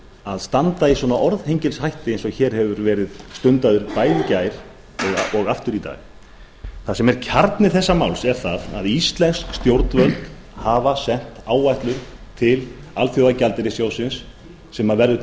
að standa í svona orðhengilshætti eins og hér hefur verið stundað bæði í gær og aftur í dag það sem er kjarni þessa máls er það að íslensk stjórnvöld hafa sent áætlun til alþjóðagjaldeyrissjóðsins sem verður